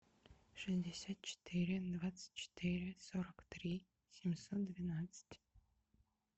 шестьдесят четыре двадцать четыре сорок три семьсот двенадцать